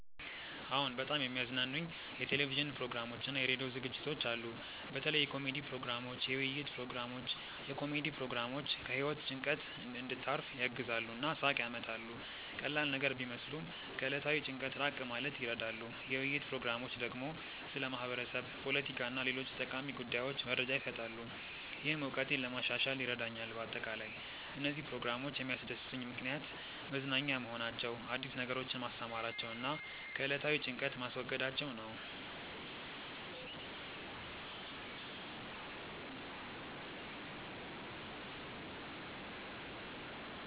አዎን፣ በጣም የሚያዝናኑኝ የቴሌቪዥን ፕሮግራሞችና የራዲዮ ዝግጅቶች አሉ። በተለይ የኮሜዲ ፕሮግራሞች፣ የውይይት ፕሮግራሞች። የኮሜዲ ፕሮግራሞች ከህይወት ጭንቀት እንድታርፍ ያግዛሉ እና ሳቅ ያመጣሉ። ቀላል ነገር ቢመስሉም ከዕለታዊ ጭንቀት ራቅ ማለት ይረዳሉ። የውይይት ፕሮግራሞች ደግሞ ስለ ማህበረሰብ፣ ፖለቲካ እና ሌሎች ጠቃሚ ጉዳዮች መረጃ ይሰጣሉ፣ ይህም እውቀቴን ለማሻሻል ይረዳኛል በአጠቃላይ፣ እነዚህ ፕሮግራሞች የሚያስደስቱኝ ምክንያት መዝናኛ መሆናቸው፣ አዲስ ነገሮችን ማስተማራቸው እና ከዕለታዊ ጭንቀት ማስወገዳቸው ነው